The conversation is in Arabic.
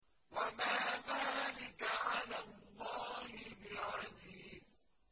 وَمَا ذَٰلِكَ عَلَى اللَّهِ بِعَزِيزٍ